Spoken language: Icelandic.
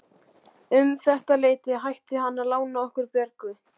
Um þetta leyti hætti hann að lána okkur Björgu og